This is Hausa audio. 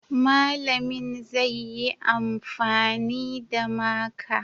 Malamin zai yi amfani da maka